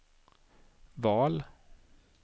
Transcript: val